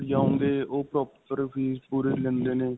ਓਹ proper fees ਪੂਰੀ ਲੈਂਦੇ ਨੇ .